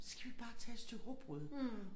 Skal vi ikke bare tage et stykke rugbrød